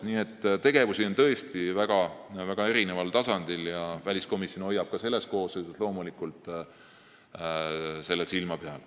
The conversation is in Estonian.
Nii et tegutsetakse tõesti väga erinevatel tasanditel ja väliskomisjon hoiab sellel loomulikult ka praeguses koosseisus silma peal.